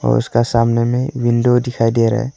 उसका सामने में विंडो दिखाई दे रहा है।